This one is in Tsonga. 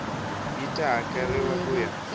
yi ta hakeriwa ku ya